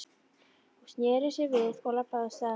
Hún sneri sér við og labbaði af stað.